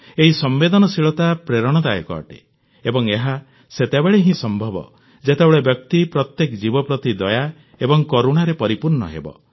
ଏହି ସମ୍ବେଦନଶୀଳତା ପ୍ରେରଣାଦାୟକ ଅଟେ ଏବଂ ଏହା ସେତେବେଳେ ହିଁ ସମ୍ଭବ ଯେତେବେଳେ ବ୍ୟକ୍ତି ପ୍ରତ୍ୟେକ ଜୀବ ପ୍ରତି ଦୟା ଏବଂ କରୁଣାରେ ପରିପୂର୍ଣ୍ଣ ହେବ